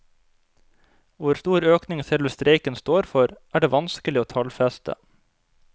Hvor stor økning selve streiken står for, er det vanskelig å tallfeste.